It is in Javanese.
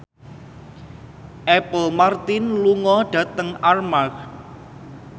Apple Martin lunga dhateng Armargh